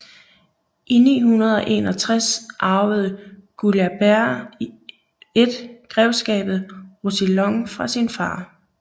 I 961 arvede Guilabert I grevskabet Roussillon fra sin far